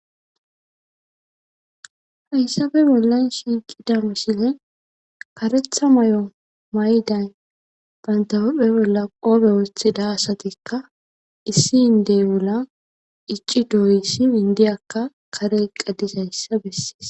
Hayssabe bollan shiiqida misile karetha may'o mayday bantahupphe bolla qoobe wooththida asatikka issi indey ula icci dooyissi indiyakka kare qaddis hayssa bessees.